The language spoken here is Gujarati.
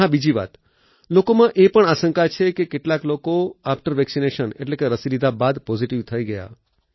અને હા બીજી વાત લોકોમાં એ પણ આશંકા છે કે કેટલાક લોકો આફ્ટર વેક્સિનેશન એટલે કે રસી લીધા બાદ પોઝીટીવ થઈ ગયા